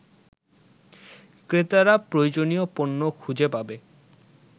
ক্রেতারা প্রয়োজনীয় পণ্য খুঁজে পাবে